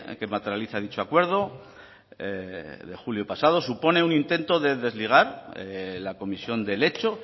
que materializa dicho acuerdo de julio pasado supone un intento de desligar la comisión del hecho